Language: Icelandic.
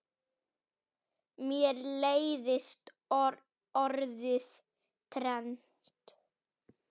Mér leiðist orðið trend.